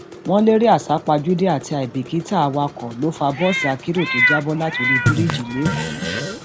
wọn lérè àsápajúdé àti àìbìkítà awakọ ló fa bọọsì akérò tó já bọ látorí bíríìjì lẹkọọ